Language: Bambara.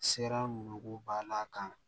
Sera mako b'a la kan